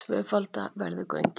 Tvöfalda verði göngin